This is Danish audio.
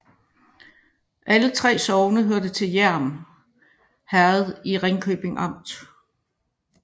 Alle 3 sogne hørte til Hjerm Herred i Ringkøbing Amt